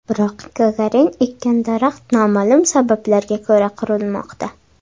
Biroq Gagarin ekkan daraxt noma’lum sabablarga ko‘ra qurimoqda.